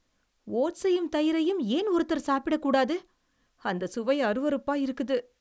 ஓட்ஸையும் தயிரையும் ஏன் ஒருத்தரு சாப்பிடக்கூடாது? அந்த சுவை அருவருப்பா இருக்குது.